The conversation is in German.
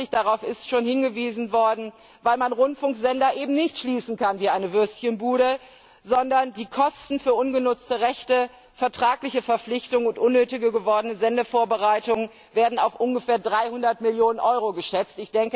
Unwirtschaftlich darauf ist schon hingewiesen worden weil man Rundfunksender eben nicht schließen kann wie eine Würstchenbude, denn die Kosten für ungenutzte Rechte, vertragliche Verpflichtungen und unnötig gewordene Sendevorbereitungen werden auf ungefähr 300 Millionen Euro geschätzt.